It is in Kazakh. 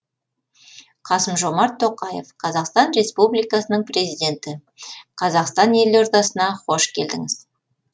қасым жомарт тоқаев қазақстан республикасының президенті қазақстан елордасына қош келдіңіз